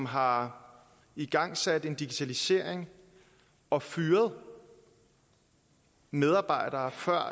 har igangsat en digitalisering og fyret medarbejdere før